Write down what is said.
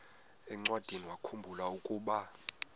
encwadiniwakhu mbula ukuba